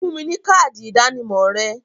Fún mi ní káádì ìdánimọ̀ rẹ!